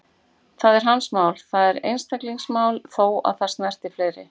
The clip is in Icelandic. Það er hans mál, það er einstaklingsmál, þó að það snerti fleiri.